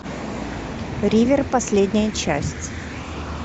ривер последняя часть